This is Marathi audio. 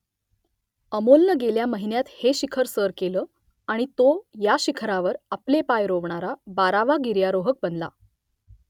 अमोलनं गेल्या महिन्यात हे शिखर सर केलं आणि तो या शिखरावर आपले पाय रोवणारा बारावा गिर्यारोहक बनला